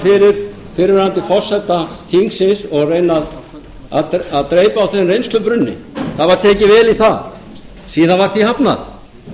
fyrir fyrrverandi forseta þingsins og reyna að dreypa á þeim reynslubrunni það var tekið vel í það síðan var því hafnað